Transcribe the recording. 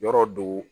Yɔrɔ do